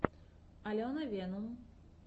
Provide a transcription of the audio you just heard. алена венум